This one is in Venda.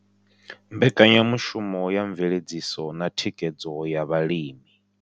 Mbekanya mushumo ya Mveledziso na Thikhedzo ya Vhalimi.